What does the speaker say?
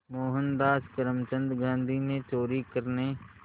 मोहनदास करमचंद गांधी ने चोरी करने